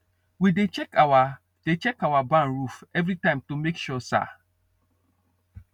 we dey check our dey check our barn roof every time to make sure sa